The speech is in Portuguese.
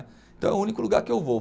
Então é o único lugar que eu vou.